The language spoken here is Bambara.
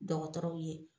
Dɔgɔtɔrɔw ye